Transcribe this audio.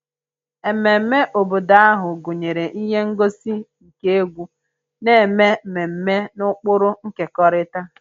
Ememme obodo ahụ gụnyere ihe ngosi nke egwu na-eme mmemme na ụkpụrụ nkekọrịta